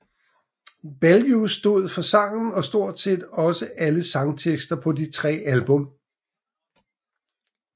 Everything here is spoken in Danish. Belew stod for sangen og stort set også alle sangtekster på de tre album